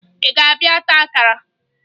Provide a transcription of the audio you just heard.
Ị ga-abịa taa akara?